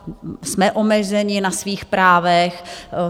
Jsme omezeni na svých právech.